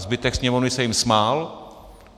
Zbytek sněmovny se jim smál.